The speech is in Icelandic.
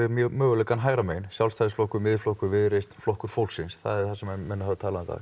möguleikann hægra megin Sjálfstæðisflokkur Miðflokkur Viðreisn Flokkur fólksins það er það sem menn hafa talað um